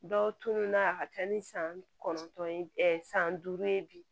Dɔw tununa a ka ca ni san kɔnɔntɔn ye san duuru ye bi